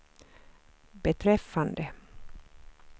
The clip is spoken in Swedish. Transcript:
beträffande